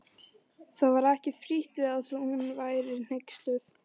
Það var ekki frítt við að hún væri hneyksluð.